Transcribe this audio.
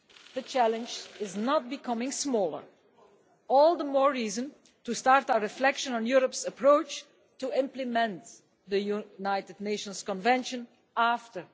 The challenge is not becoming smaller, all the more reason to start our reflection on Europe's approach to implement the UN Convention after